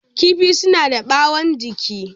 Kifi suna da ɓawon jiki.